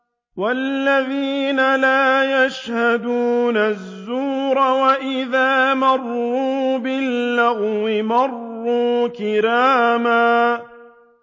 وَالَّذِينَ لَا يَشْهَدُونَ الزُّورَ وَإِذَا مَرُّوا بِاللَّغْوِ مَرُّوا كِرَامًا